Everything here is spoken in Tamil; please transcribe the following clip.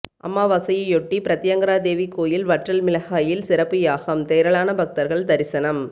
அமாவாசையையொட்டி பிரத்தியங்கிராதேவி கோயிலில் வற்றல் மிளகாயில் சிறப்புயாகம் திரளான பக்தர்கள் தரிசனம்